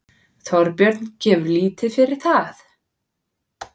Þorbjörn gefur lítið fyrir það.